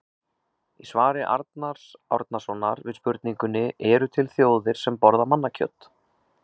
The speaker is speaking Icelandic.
Í svari Arnars Árnasonar við spurningunni Eru til þjóðir sem borða mannakjöt?